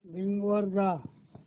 Bing वर जा